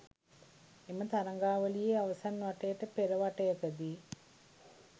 එම තරගාවලියේ අවසන් වටයට පෙර වටයකදී